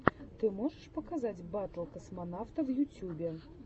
ты можешь показать батл космонавта в ютьюбе